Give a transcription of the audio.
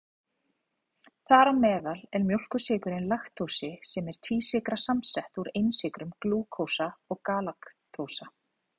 Þar á meðal er mjólkursykurinn laktósi sem er tvísykra samsett úr einsykrunum glúkósa og galaktósa.